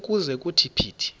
ukuze kuthi phithi